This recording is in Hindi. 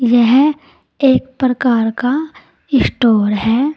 यह एक प्रकार का स्टोर है।